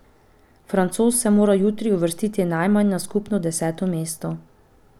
Francoz se mora jutri uvrstiti najmanj na skupno deseto mesto.